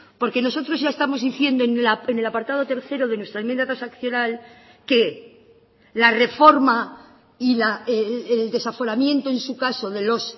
porque nosotros ya estamos diciendo en el apartado tercero de nuestra enmienda transaccional que la reforma y el desaforamiento en su caso de los